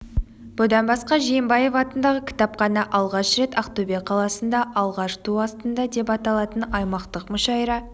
бұдан басқа жиенбаев атындағы кітапхана алғаш рет ақтөбе қаласында алаш туы астында деп аталатын аймақтық мүшәйра